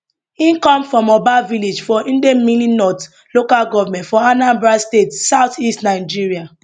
e come from oba village for idemili north local goment for anambra state south east nigeria